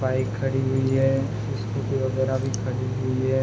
Bike खड़ी हुई है । स्कूटी वगेरा भी खड़ी हुई है ।